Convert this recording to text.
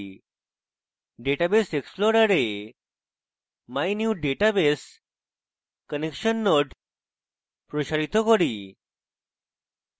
database explorer mynewdatabase connection node প্রসারিত করুন